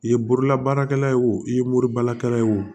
I ye bololabaarakɛla ye o i ye moribalakalan ye o